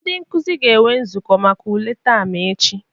Ndị nkuzi ga-enwe nzukọ maka ule taam ech.